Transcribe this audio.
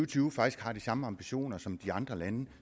tyve faktisk har de samme ambitioner som de andre lande